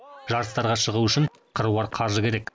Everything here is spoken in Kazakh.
жарыстарға шығу үшін қыруар қаржы керек